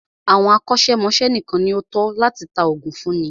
Àwọn akọ́ṣẹ́mọ́ṣẹ́ nìkan ní o tọ́ láti tá oògùn fúnni.